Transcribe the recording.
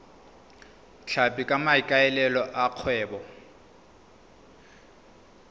tlhapi ka maikaelelo a kgwebo